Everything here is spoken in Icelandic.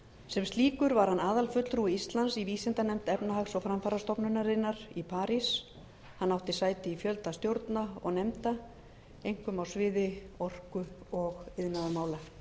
sem slíkur var hann aðalfulltrúi íslands í vísindanefnd efnahags og framfarastofnunarinnar í parís hann átti sæti í fjölda stjórna og nefnda einkum á sviði orku og iðnaðarmála